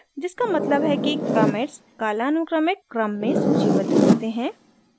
जिसका मतलब है कि commits कालानुक्रमिक chronological क्रम में सूचीबद्ध होते हैं